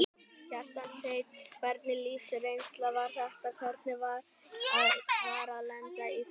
Kjartan Hreinn: Hvernig lífsreynsla var þetta, hvernig var að lenda í þessu?